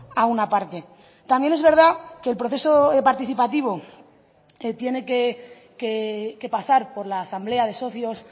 a una parte también es verdad que el proceso participativo tiene que pasar por la asamblea de socios